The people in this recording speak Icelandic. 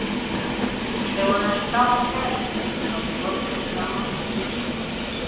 Þau voru eins og gamalt kærustupar, gátu hvorki verið saman né sundur.